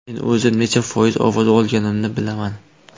Men o‘zim necha foiz ovoz olganimni bilaman.